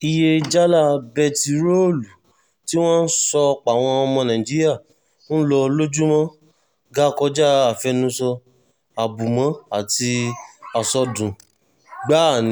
iye jálá bẹntiróòlù tí wọ́n sọ páwọn ọmọ nàìjíríà ń lò lójúmọ́ ga kọjá àfẹnusọ àbùmọ́ àti àsọdùn gbáà ni